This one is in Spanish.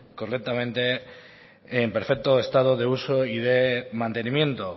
correctamente en perfecto estado de uso y de mantenimiento